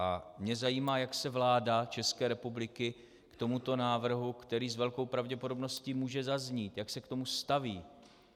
A mě zajímá, jak se vláda České republiky k tomuto návrhu, který s velkou pravděpodobností může zaznít, jak se k tomu staví.